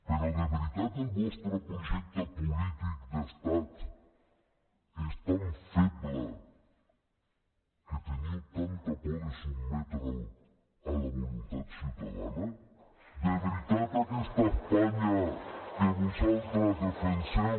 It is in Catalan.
però de veritat el vostre projecte polític d’estat és tan feble que teniu tanta por de sotmetre’l a la voluntat ciutadana de veritat aquesta espanya que vosaltres defenseu